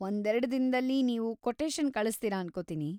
ಒಂದೆರ್ಡು ದಿನ್ದಲ್ಲಿ ನೀವು ಕೊಟೇಶನ್‌ ಕಳಿಸ್ತೀರ ಅನ್ಕೋತೀನಿ.